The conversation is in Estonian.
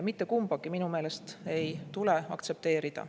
Mitte kumbagi minu meelest ei tule aktsepteerida.